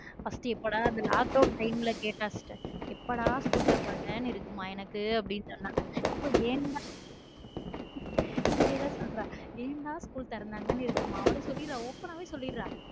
first எப்போடா அந்த lockdown time ல கேட்டா sister எப்படா school திறப்பாங்கன்னு இருக்குதுன்னு மாஎனக்கு இப்ப ஏண்டா school திறக்குதுன்னு சொல்றான் அப்படி சொல்லிறன் open ஆ சொல்லிடுறேன்.